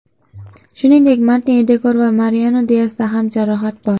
Shuningdek, Martin Edegor va Mariano Diasda ham jarohat bor.